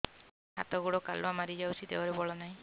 ହାତ ଗୋଡ଼ କାଲୁଆ ମାରି ଯାଉଛି ଦେହରେ ବଳ ନାହିଁ